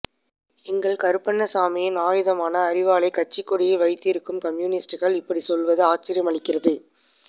எங்கள் கருப்பண்ணசாமியின் ஆயுதமான அரிவாளைக் கட்சிக் கொடியில் வைத்திருக்கும் கம்யூனிஸ்டுகள் இப்படிச் சொல்வது ஆச்சரியமளிக்கிறது